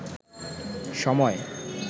সময়